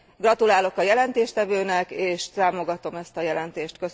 Gratulálok a jelentéstevőnek, és támogatom ezt a jelentés.